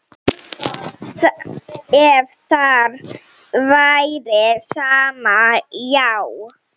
Ef þér væri sama, já.